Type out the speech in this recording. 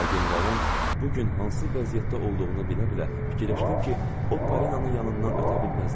Amma generalın bu gün hansı vəziyyətdə olduğunu bilə-bilə fikirləşdim ki, o Parinanın yanından ötə bilməzdi.